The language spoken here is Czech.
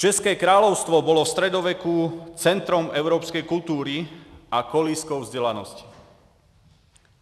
České království bylo ve středověku centrem evropské kultury a kolébkou vzdělanosti.